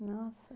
Nossa!